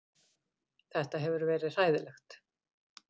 Þetta hefur verið hræðilegt